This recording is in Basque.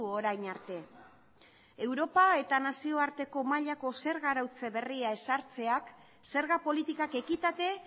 orain arte europa eta nazioarteko mailako zerga arautze berria ezartzeak zerga politikak ekitate